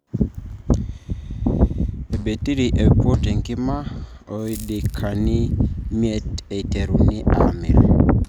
Obetiri oiput enkima ldaikani miet eiteruni amir.